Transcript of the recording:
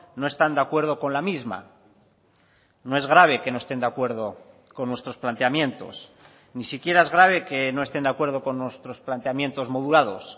no están de acuerdo con la misma no es grave que no estén de acuerdo con nuestros planteamientos ni siquiera es grave que no estén de acuerdo con nuestros planteamientos modulados